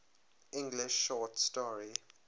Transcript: english short story